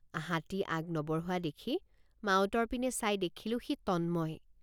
হাতী আগ নবঢ়োৱা দেখি মাউতৰ পিনে চাই দেখিলোঁ সি তন্ময়।